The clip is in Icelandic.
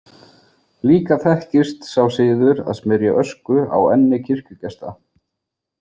Líka þekkist sá siður að smyrja ösku á enni kirkjugesta.